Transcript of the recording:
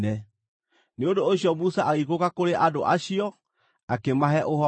Nĩ ũndũ ũcio Musa agĩikũrũka kũrĩ andũ acio, akĩmahe ũhoro ũcio.